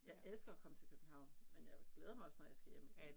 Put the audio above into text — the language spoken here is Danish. Jeg elsker at komme til København men jeg glæder mig også når jeg skal hjem igen